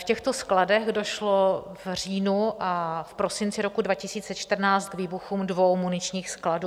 V těchto skladech došlo v říjnu a v prosinci roku 2014 k výbuchům dvou muničních skladů.